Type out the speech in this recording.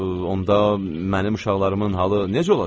onda mənim uşaqlarımın halı necə olacaq?